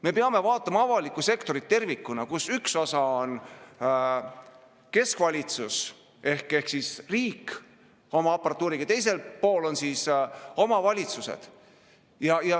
Me peame vaatama avalikku sektorit tervikuna, kus ühel pool on keskvalitsus ehk riik oma aparatuuriga ning teisel pool on omavalitsused.